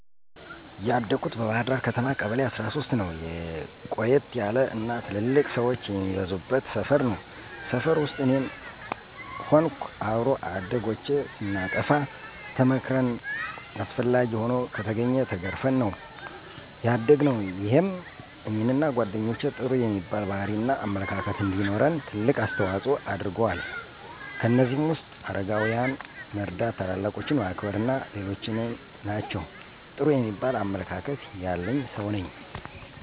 ያደኩት በባህርዳር ከተማ ቀበሌ13ነው። ቆየት ያለ እና ትልልቅ ሠወች የሚበዙበት ሰፈር ነው። ሰፈር ውስጥ እኔም ሆንኩ አብሮ አደጎቼ ስናጠፋ ተመክረን አስፈላጊ ሆኖ ከተገኘ ተገርፈን ነው ያደግነው። ይሄም እኔንና ጓደኞቼ ጥሩ የሚባል ባህሪ እና አመለካከት እንዲኖረን ትልቅ አስተዋጽኦ አድርጎአል። ከእነዚህም ውስጥ አረጋውያንን መርዳ፣ ታላላቆችን ማክበር አና ሌሎችም ናቸው። ጥሩ የሚባል አመለካከት ያለኝ ሠው ነኝ።